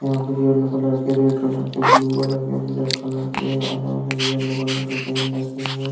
coffee का mug दिख रहा है जिस में कॉफ़ी भरी हुई है कॉफ़ी का मग अंदर दे सफ़ेद है और अंदर से लाल है जिस पे सफ़ेद कलर से नेस्स कैफे लिखा --